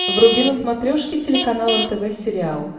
вруби на смотрешке телеканал нтв сериал